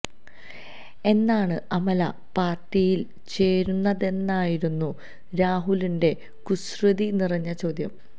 എന്നാണ് അമല പാര്ട്ടിയില് ചേരുന്നതെന്നായിരുന്നു രാഹുലിന്റെ കുസൃതി നിറഞ്ഞ ചോദ്യം